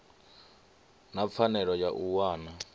na pfanelo ya u wana